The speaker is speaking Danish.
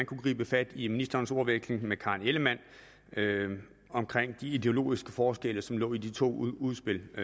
kunne gribe fat i ministerens ordveksling med fru karen ellemann og de ideologiske forskelle som lå i de to udspil og